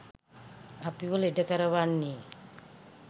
අපිව ලෙඩ කරවන්නේ.